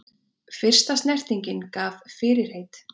Fyrsta snertingin gaf fyrirheit